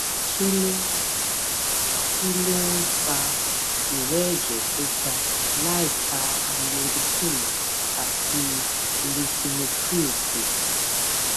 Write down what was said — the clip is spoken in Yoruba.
kí ló ń kí ló ń fa ìrẹ́ ẹ̀jẹ̀ tó ga láìka amlodipine àti lisinopril sí